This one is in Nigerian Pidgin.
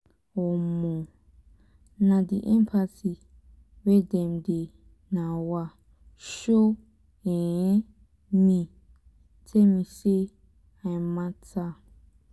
um na di empathy wey dem dey um show um me tell me sey i mata.